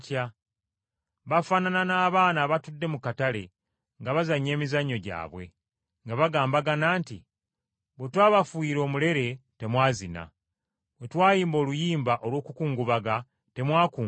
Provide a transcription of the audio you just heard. Bafaanana ng’abaana abato abazannya emizannyo gyabwe mu katale, nga bagambagana nti, “ ‘Bwe twabafuuyira omulere, temwazina, Bwe twayimba oluyimba olw’okukungubaga, temwakungubaga.’